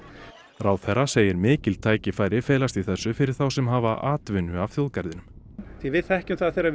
ráðherra segir mikil tækifæri felast í þessu fyrir þá sem hafa atvinnu af þjóðgarðinum því að við þekkjum það að þegar